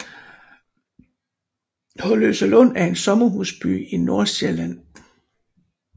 Holløselund er en sommerhusby i Nordsjælland med